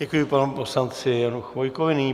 Děkuji panu poslanci Janu Chvojkovi.